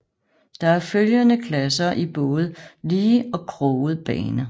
Der er følgende klasser i både lige og kroget bane